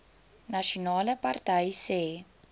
nasionale party sê